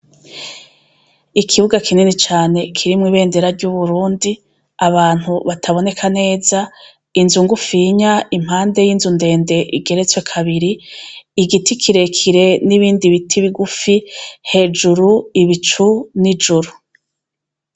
Ikibuga kinini cane kirimwo ibendera ry' Uburundi abantu bataboneka neza inzu ngufinya impande y' inzu ndende igeretswe kabiri igiti kirekire n' ibindi biti bigufi hejuru ibicu n' juru.